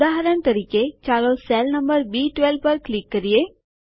ઉદાહરણ તરીકે ચાલો સેલ નંબર બી12 પર ક્લિક કરીએ